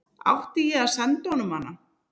Átti ég að senda honum hana?